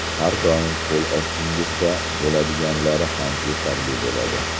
Har doim qo‘l ostingizda bo‘ladiganlari ham yetarli bo‘ladi.